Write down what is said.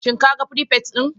Shin kaga firifet din?